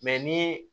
ni